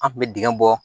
An kun bɛ dingɛ bɔ